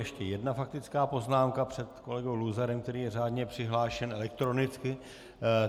Ještě jedna faktická poznámka před kolegou Luzarem, který je řádně přihlášen elektronicky.